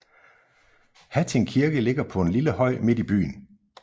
Hatting Kirke ligger på en lille høj midt i byen